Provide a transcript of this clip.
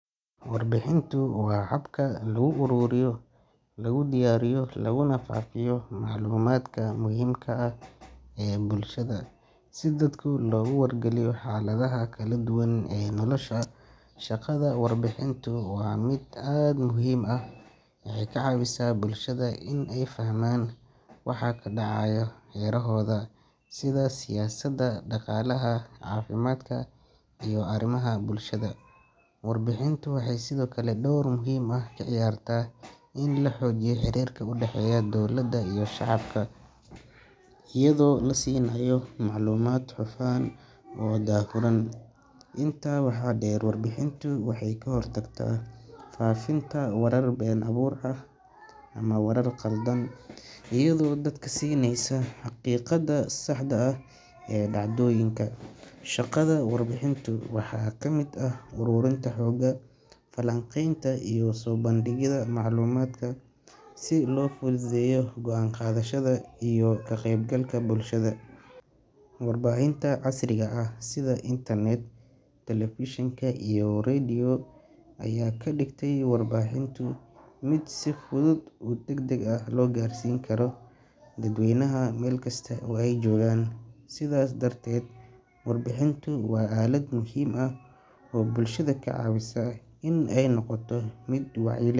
Warbixintu waa habka lagu ururiyo, lagu diyaariyo, laguna faafiyo macluumaadka muhiimka ah ee bulshada, si dadka loogu wargeliyo xaaladaha kala duwan ee nolosha. Shaqada warbixintu waa mid aad u muhiim ah, waxay ka caawisaa bulshada inay fahmaan waxa ka dhacaya hareerahooda, sida siyaasadda, dhaqaalaha, caafimaadka, iyo arrimaha bulshada. Warbixintu waxay sidoo kale door muhiim ah ka ciyaartaa in la xoojiyo xiriirka u dhexeeya dowladda iyo shacabka, iyadoo la siinayo macluumaad hufan oo daahfuran. Intaa waxaa dheer, warbixintu waxay ka hortagtaa faafinta warar been abuur ah ama warar khaldan, iyadoo dadka siinaysa xaqiiqada saxda ah ee dhacdooyinka. Shaqada warbixintu waxaa ka mid ah ururinta xogta, falanqaynta, iyo soo bandhigida macluumaadka si loo fududeeyo go'aan qaadashada iyo ka qeybgalka bulshada. Warbaahinta casriga ah sida internet, telefishinka, iyo radio ayaa ka dhigtay warbixinta mid si fudud oo degdeg ah loo gaarsiin karo dadweynaha meel kasta oo ay joogaan. Sidaas darteed, warbixintu waa aalad muhiim ah oo bulshada ka caawisa inay noqoto mid wacyi leh.